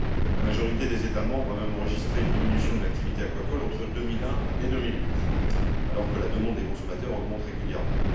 La majorité des États membres a même enregistré une diminution de l'activité aquacole entre 2001 et 2008 alors que la demande des consommateurs augmente régulièrement.